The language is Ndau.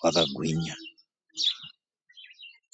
vakagwinya.